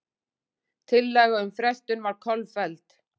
Tillaga um frestun var kolfelld